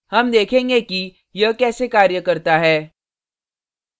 हम देखेंगे कि यह कैसे कार्य करता है